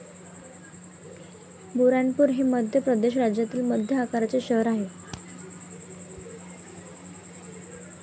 बुऱ्हाणपूर हे मध्य प्रदेश राज्यातील मध्य आकाराचे शहर आहे.